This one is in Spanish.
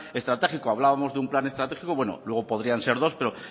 estratégico hablábamos de un plan estratégico bueno luego podrían ser dos pero